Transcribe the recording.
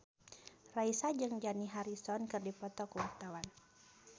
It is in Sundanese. Raisa jeung Dani Harrison keur dipoto ku wartawan